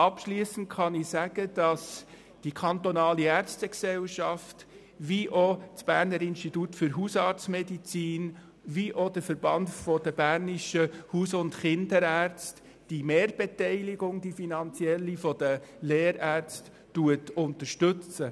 Abschliessend kann ich sagen, dass sowohl die Ärztegesellschaft des Kantons Bern als auch das Berner Institut für Hausarztmedizin (BIHAM) und der Verein der Bernischen Haus- und KinderärztInnen (VBHK) die finanzielle Mehrbeteiligung der Lehrärzte unterstützen.